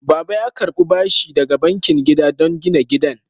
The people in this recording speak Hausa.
Baba ya karɓi bashi daga bankin gida don gina gidan.